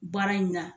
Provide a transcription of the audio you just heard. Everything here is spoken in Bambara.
Baara in na